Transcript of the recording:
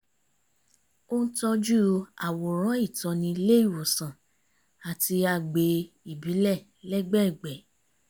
ó ń tọ́jú àwòrán ìtọ́ni ilé ìwòsàn àti agbè ìbílẹ̀ lẹ́gbẹ̀ẹ̀gbẹ́